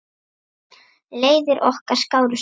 Leiðir okkar skárust oft.